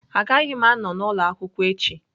Agaghị m anọ n'ụlọ akwụkwọ echi